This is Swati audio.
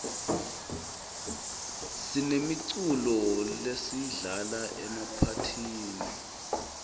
sinemiculo lesiyidlala emaphathini